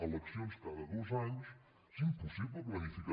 eleccions cada dos anys és impossible planificar